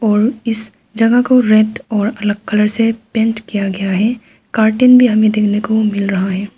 और इस जगह को रेड और अलग कलर से पेंट किया गया है कर्टन भी हमें देखने को मिल रहा है।